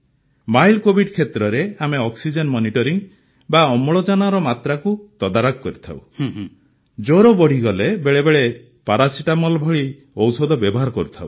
mild Covid କ୍ଷେତ୍ରରେ ଆମେ oxygen monitoring ବା ଅମ୍ଳଜାନର ମାତ୍ରାକୁ ତଦାରଖ କରିଥାଉ ଜ୍ୱର ବଢ଼ିଗଲେ ବେଳେବେଳେ ପାରାସିଟାମଲ୍ ଭଳି ଔଷଧ ବ୍ୟବହାର କରିଥାଉ